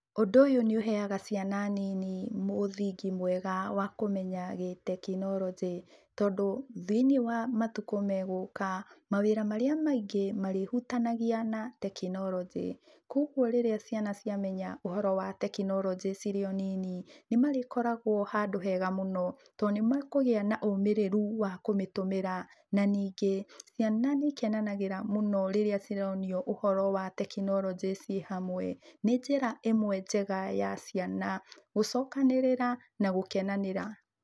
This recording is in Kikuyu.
Ũndũ ũyũ nĩuheaga ciana nini mũthingi mwega wa kũmenya gĩtekinoronjĩ tondũ thĩiniĩ wa matukũ me gũka mawĩra marĩa maingĩ marĩhutanagia na tekinoronjĩ, kogwo rĩrĩa ciana ciamenya ũhoro wa tekinoronji cirio nini, nĩmarĩkoragwo handũ hega mũno to nimekũgĩa na ũmĩrĩru wa kũmĩtũmũra na ningĩ ciana nĩcikenanagĩra mũno rĩrĩa cironio ũhoro wa tekinoronjĩ cĩ hamwe. Nĩ njĩra ĩmwe njega ya ciana gũcokanĩrĩra na gũkenanĩra.